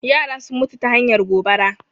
Yara sun mutu ta hanyar gobara